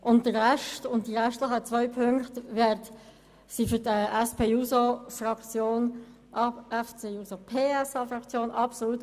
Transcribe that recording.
Der Rest sowie die übrigen zwei Ziffern sind aus Sicht der SP-JUSO-PSAFraktion obsolet.